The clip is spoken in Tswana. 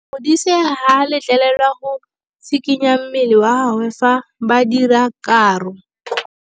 Modise ga a letlelelwa go tshikinya mmele wa gagwe fa ba dira karô.